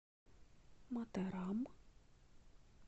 матарам